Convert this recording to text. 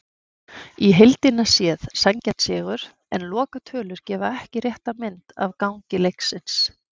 Í heildina séð sanngjarn sigur, en lokatölur gefa ekki rétta mynd af gangi leiksins.